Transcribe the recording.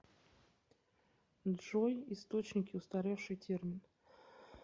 джой источники устаревший термин